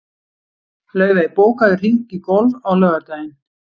Laufey, bókaðu hring í golf á laugardaginn.